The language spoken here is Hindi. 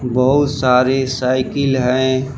बहुत सारी साइकिल हैं।